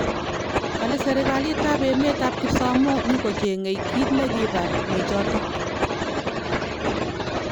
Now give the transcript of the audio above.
Kale serikalit ap emet ap kipsamoo nyigochengei kit nekipar nechotok.